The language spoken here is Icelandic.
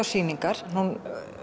sýningar hún